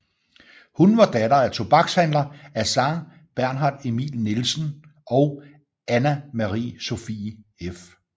Hun var datter af tobakshandler Assar Bernhard Emil Nielsen og Anna Marie Sophie f